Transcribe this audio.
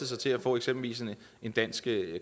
sig til at få eksempelvis en dansk